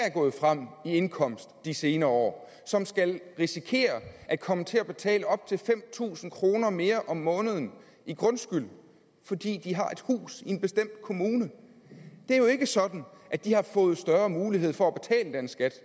er gået frem i indkomst de senere år som risikerer at komme til at betale op til fem tusind kroner mere om måneden i grundskyld fordi de har et hus i en bestemt kommune det er jo ikke sådan at de har fået større mulighed for at betale den skat